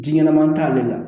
Ji ɲɛnaman t'ale la